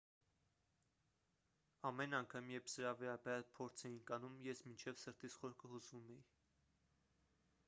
ամեն անգամ երբ սրա վերաբերյալ փորձ էինք անում ես մինչև սրտիս խորքը հուզվում էի